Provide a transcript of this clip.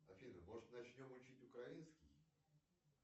афина может начнем учить украинский